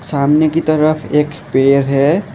सामने की तरफ एक पेड़ है।